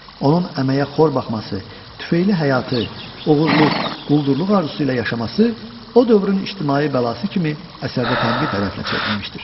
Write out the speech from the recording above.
Onun əməyə xor baxması, tüfeyli həyatı, oğurluq, quldurluq arzusu ilə yaşaması o dövrün ictimai bəlası kimi əsərdə tənqid hədəfinə çevrilmişdir.